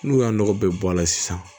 N'u y'a nɔgɔ bɛɛ bɔ a la sisan